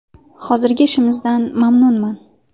Hozirgi ishimizdan mamnunman.